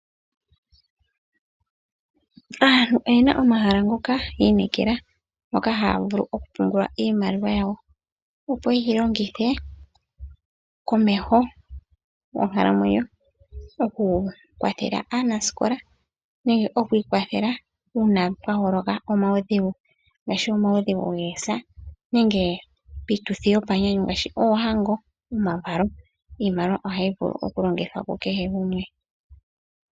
Aantu oyena omahala ngoka yi inekela moka haya vulu oku pungula iimaliwa yawo opo yeyi longithe komeho monkalamwenyo oku kwathela aanasikola nenge oku ikwathela uuna pwaholoka omaudhigu ngaashi omaudhigu goosa nenge piituthi yomanyanyu ngaashi oohango nomavalo. Iimaliwa ohayi vulu oku longithwa kukehe gumwe.